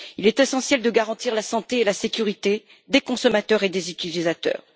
Il est essentiel de garantir la santé et la sécurité des consommateurs et des utilisateurs.